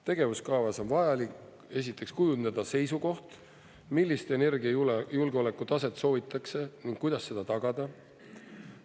Tegevuskavas on vajalik, esiteks, kujundada seisukoht, millist energiajulgeoleku taset soovitakse ning kuidas seda tagada.